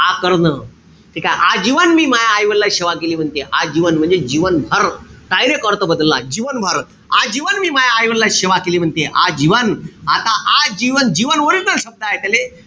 आकर्ण ठीकेय? आजीवन मी माह्या आईवडिलांची सेवा केली म्हणते. आजीवन म्हणजे जीवन भर. Direct अर्थ बदलला. जीवनभर. आजीवन मी माह्या आईवडिलांची सेवा केली म्हणते. आजीवन. आता आजीवन, जीवन original शब्द हाये. त्याले,